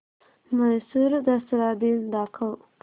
म्हैसूर दसरा दिन दाखव